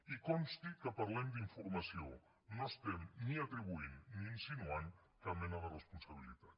i consti que parlem d’informació no estem ni atribuint ni insinuant cap mena de responsabilitat